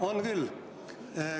On küll.